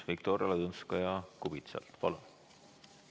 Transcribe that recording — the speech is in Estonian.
Viktoria Ladõnskaja-Kubits, palun!